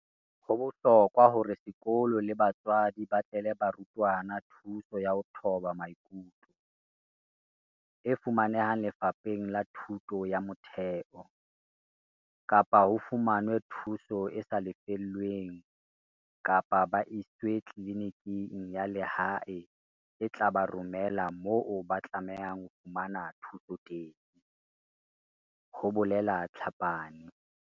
"Ho bohlokwa hore sekolo le batswadi ba batlele barutwana thuso ya ho thoba maikutlo, e fumanehang Lefapheng la Thuto ya Motheo, kapa ho fumanwe thuso e sa lefellweng kapa ba iswe tliliniking ya lehae e tla ba romela moo ba tlamehang ho fumana thuso teng," ho bolela Tlhapane.